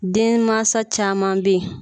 Denmansa caman beyi.